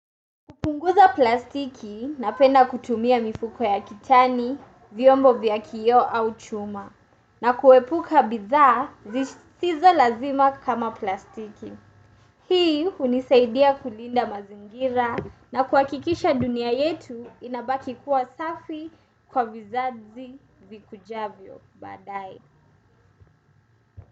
Kupunguza plastiki napenda kutumia mifuko ya kitani, vyombo vya kio au chuma. Na kuepuka bidhaa zisizo lazima kama plastiki. Hii hunisaidia kulinda mazingira na kuhakikisha dunia yetu inabaki kuwa safi kwa vizazi vikujavyo badae.